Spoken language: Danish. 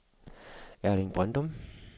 Erling Brøndum